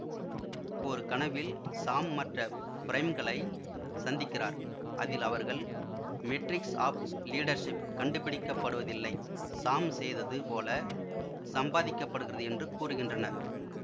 ஒரு கனவில் சாம் மற்ற பிரைம்களை சந்திக்கிறார் அதில் அவர்கள் மெட்ரிக்ஸ் ஆஃப் லீடர்ஷிப் கண்டுபிடிக்கப்படுவதில்லை சாம் செய்தது போல சம்பாதிக்கப்படுகிறது என்று கூறுகின்றனர்